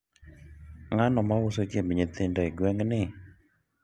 ng'ano mauso chiemb nyithindo e gweng' ni?